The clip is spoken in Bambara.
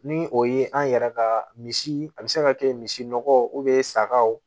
Ni o ye an yɛrɛ ka misi a bɛ se ka kɛ misi nɔgɔ sagaw